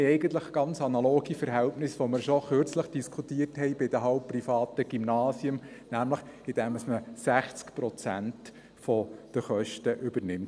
Wir haben eigentlich ganz analoge Verhältnisse, wie wir sie schon kürzlich, bei den halbprivaten Gymnasien, diskutiert haben, nämlich indem man seitens des Kantons 60 Prozent der Kosten übernimmt.